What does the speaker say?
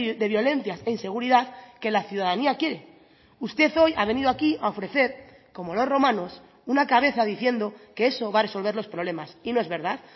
de violencias e inseguridad que la ciudadanía quiere usted hoy ha venido aquí a ofrecer como los romanos una cabeza diciendo que eso va a resolver los problemas y no es verdad